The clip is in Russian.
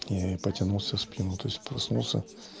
и потянул всю спину то есть проснулся